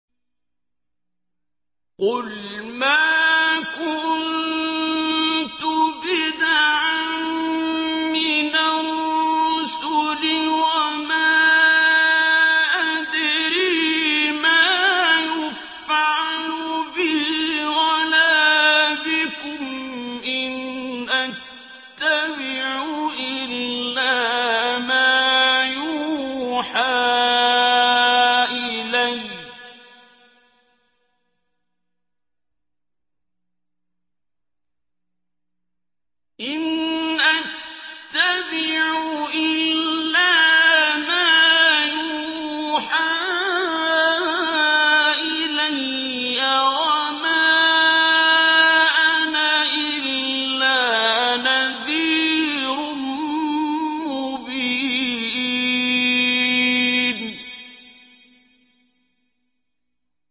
قُلْ مَا كُنتُ بِدْعًا مِّنَ الرُّسُلِ وَمَا أَدْرِي مَا يُفْعَلُ بِي وَلَا بِكُمْ ۖ إِنْ أَتَّبِعُ إِلَّا مَا يُوحَىٰ إِلَيَّ وَمَا أَنَا إِلَّا نَذِيرٌ مُّبِينٌ